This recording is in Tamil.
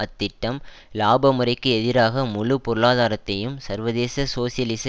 அத்திட்டம் இலாப முறைக்கு எதிராக முழு பொருளாதாரத்தையும் சர்வதேச சோசியலிச